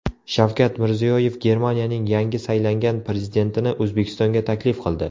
Shavkat Mirziyoyev Germaniyaning yangi saylangan prezidentini O‘zbekistonga taklif qildi.